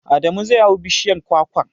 Adamu zai hau bishiyar kwakwar.